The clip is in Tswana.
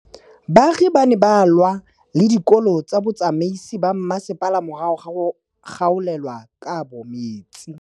Baagi ba ne ba lwa le ditokolo tsa botsamaisi ba mmasepala morago ga go gaolelwa kabo metsi